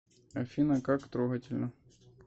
афина как трогательно